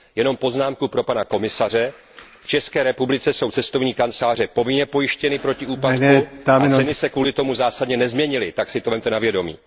Jenom poznámku pro pana komisaře v České republice jsou cestovní kanceláře povinně pojištěny proti úpadku a ceny se kvůli tomu zásadně nezměnily, tak to vezměte na vědomí.